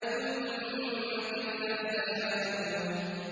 ثُمَّ كَلَّا سَيَعْلَمُونَ